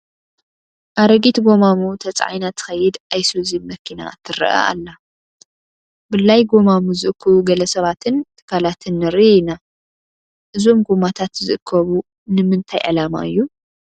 ኣረጊት ጐማሙ ተፃዒና ትኸይድ ኣይሱዙ መኪና ትርአ ኣላ፡፡ ብላይ ጐማሙ ዝእክቡ ግለ ሰባትን ትካላትን ንርኢ ኢና፡፡ እዞም ጐማታት ዝእከቡ ንምንታይ ዕላማ እዩ?